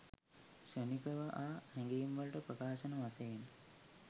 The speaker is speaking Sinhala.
ක්ෂණික ව ආ හැඟීම්වල ප්‍රකාශන වශයෙන්